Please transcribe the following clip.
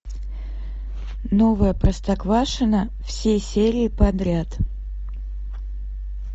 новое простоквашино все серии подряд